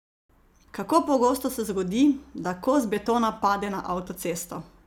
Kako pogosto se zgodi, da kos betona pade na avtocesto?